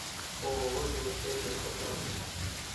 ооо жилсервис на карте